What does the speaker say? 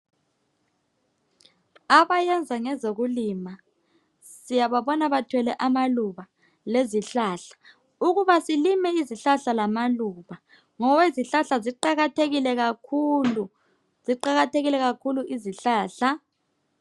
abayenza ngezokulima siyababona bethwele amaluba lezihlahla ukuba silime izihlahla lama luba ngoba izihlahla ziqakathekile kakhulu ziqakathekile kakhulu izihlahla